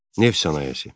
Neft sənayesi.